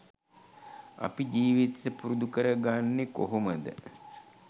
අපි ජීවිතයට පුරුදු කරගන්නෙ කොහොමද